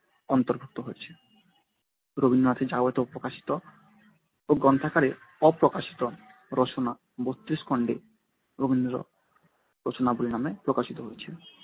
অন্তর্ভুক্ত হয়েছে। রবীন্দ্রনাথের যাবতীয় প্রকাশিত ও গ্রন্থাকারে অপ্রকাশিত রচনা বত্রিশ খণ্ডে রবীন্দ্র রচনাবলী নামে প্রকাশিত হয়েছিল